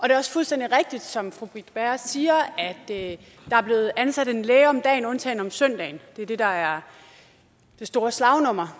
er også fuldstændig rigtigt som fru britt bager siger at der er blevet ansat en læge om dagen undtagen om søndagen det er det der er det store slagnummer